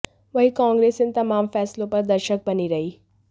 वहीं कांग्रेस इन तमाम फैसलों पर दर्शक बनी रही